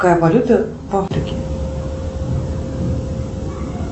какая валюта в африке